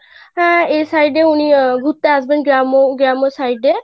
আহ এই side এ উনি ঘুরতে আসবেন গ্রাম্~ গ্রাম্য side এ,